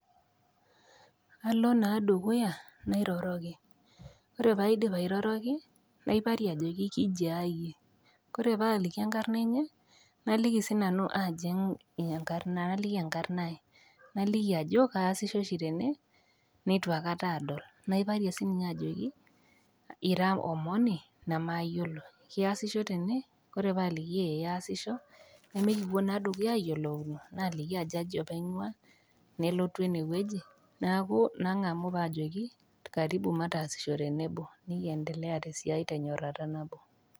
Alo naa dukuya nairoroki, ore pee aidip airoroki naiparie ajoki kijia iyie, Kore paaliki enkarna enye naliki sii nanu aaji naliki enkarna aai. Najoki ajo kaasisho oshi tene, neitu aikata aadol, naiparie sii ninye ajoki ira omoni namaayiolo, iasisho tene? Ore pee aaliki eeh aasisho, nemekipuo naa dukuya ayiolouno, naliki ajo aji apa einguaa, nelotu ene wueji neaku nangamu pae ajoki karibu mataasisho tenebo ,nikiendelea esiai tenyorata nabo.